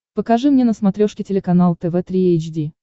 покажи мне на смотрешке телеканал тв три эйч ди